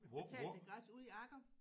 Betalte gratis ude i Agger